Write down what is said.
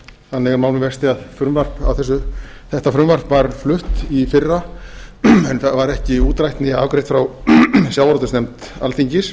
þannig er mál með vexti að þetta frumvarp var flutt í fyrra en það var ekki útrætt né afgreitt frá sjávarútvegsnefnd alþingis